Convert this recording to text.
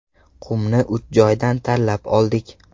Qumni uch joydan tanlab oldik.